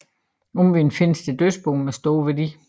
Omvendt findes der dødsboer med stor værdi